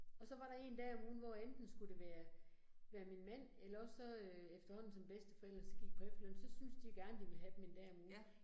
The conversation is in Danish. Og så var der én dag om ugen, hvor enten skulle det være, være min mand eller også så øh efterhånden som bedsteforældrene så gik på efterløn, så syntes de gerne, de ville have dem 1 dag om ugen